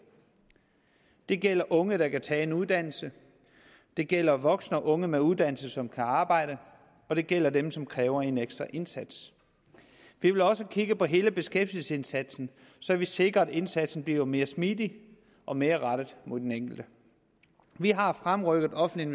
det gælder unge der kan tage en uddannelse det gælder voksne og unge med uddannelse som kan arbejde og det gælder dem som kræver en ekstra indsats vi vil også kigge på hele beskæftigelsesindsatsen så vi sikrer at indsatsen bliver mere smidig og mere rettet mod den enkelte vi har fremrykket offentlige